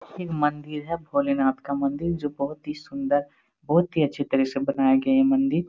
एक मंदिर है भोले नाथ का मंदिर जो बहोत ही सुंदर बहोत ही अच्छे तरह से बनाए गए हैं मंदिर।